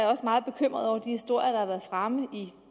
også meget bekymret over de historier der har været fremme i